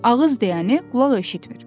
Ağız deyəni qulaq eşitmir.